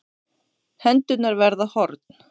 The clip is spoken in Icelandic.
Hendurnar verða horn.